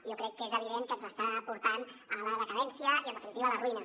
jo crec que és evident que ens està portant a la decadència i en definitiva a la ruïna